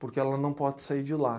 Porque ela não pode sair de lá.